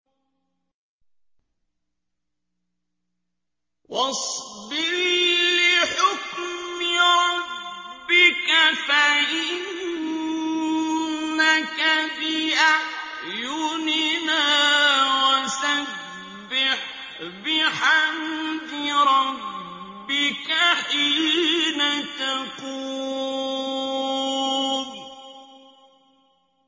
وَاصْبِرْ لِحُكْمِ رَبِّكَ فَإِنَّكَ بِأَعْيُنِنَا ۖ وَسَبِّحْ بِحَمْدِ رَبِّكَ حِينَ تَقُومُ